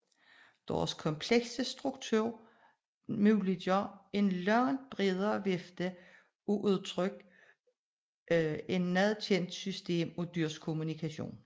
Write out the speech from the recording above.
Deres komplekse struktur muliggør en langt bredere vifte af udtryk end noget kendt system af dyrs kommunikation